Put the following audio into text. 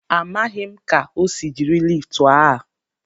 Amaghị m ka o si jiri liftu a.